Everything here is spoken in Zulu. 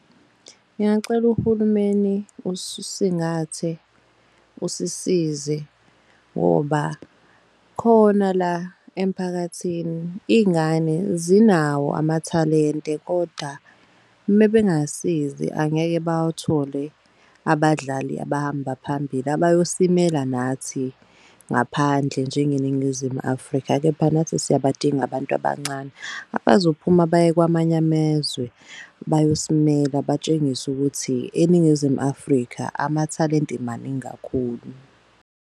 Ngingacela uhulumeni usisize ngoba khona la emphakathini iy'ngane zinawo amathalente. Kodwa mebengasizi angeke bawuthole abadlali abahamba phambili abayosimela nathi ngaphandle njengeNingizimu Afrika. Kepha nathi siyabadinga abantu abancane abazophuma baye kwamanye amezwe bayosimela batshengise ukuthi eNingizimu Afrika amathalente maningi kakhulu.